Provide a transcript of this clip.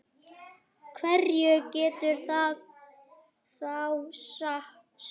Hverju getur það þá sætt?